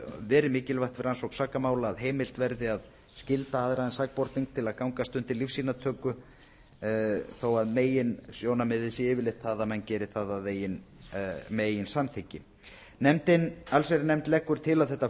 verið mikilvægt við rannsókn sakamála að heimilt verði að skylda aðra en sakborning til gangast undir lífsýnatöku þó að meginsjónarmiðið sé yfirleitt það að menn geri það með eigin samþykki allsherjarnefnd leggur til að þetta